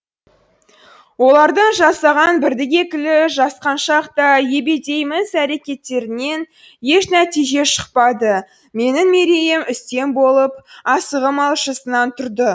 оларда жасаған бірді екілі жасқаншақ та ебедейсіз әрекеттерінен еш нәтиже шықпады менің мерейім үстем болып асығым алшысынан тұрды